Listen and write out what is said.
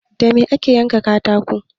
Da me ake yanka katako?